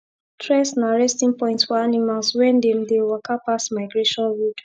tress na resting point for animals wen them dey waka pass migration road